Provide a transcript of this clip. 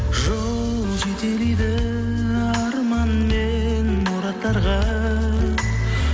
жол жетелейді арман мен мұраттарға